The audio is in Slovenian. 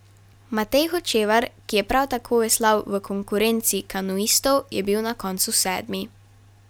Matej Hočevar, ki je prav tako veslal v konkurenci kanuistov, je bil na koncu sedmi.